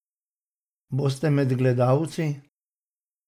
Boste med gledalci?